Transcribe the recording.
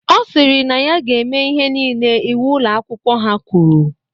Ọ sịrị na ya ga-eme ihe nile iwu Ụlọ akwụkwọ ha kwuru.